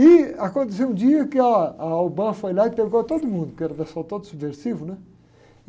E aconteceu um dia que ah, a foi lá e pegou todo mundo, porque era um pessoal todo subversivo, né?